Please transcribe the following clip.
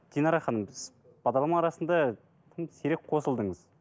динара ханым сіз бағдарлама арасында тым сирек қосылдыңыз